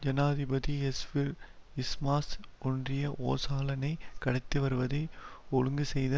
ஜனாதிபதி எஸ்விற் யில்மாஸ் ஒன்றிய ஓசாலனை கடத்தி வருவதை ஒழுங்கு செய்த